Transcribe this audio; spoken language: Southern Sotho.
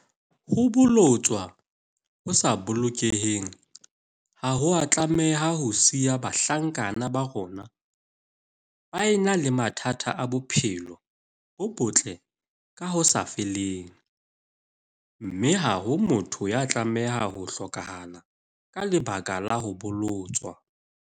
Ho bolotswa ho sa bolokehang ha ho a tlameha ho siya bahlankana ba rona ba ena le mathata a bophelo bo botle ka ho sa feleng, mme ha ho motho ya tlameha ho hlokahala ka lebaka la ho bolotswa.